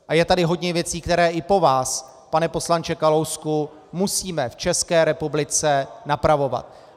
A je tady hodně věcí, které i po vás, pane poslanče Kalousku, musíme v České republice napravovat.